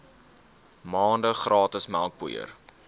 maande gratis melkpoeier